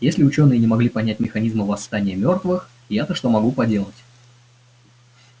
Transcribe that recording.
если учёные не смогли понять механизмы восстания мёртвых я-то что могу поделать